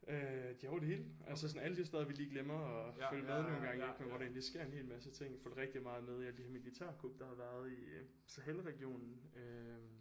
Øh de er over det hele altså sådan alle de steder vi lige glemmer at følge med nogle gange ik men hvor der egentlig sker en hel masse ting følger rigtig meget med i alle de her militærkup der har været i Sahel regionen øh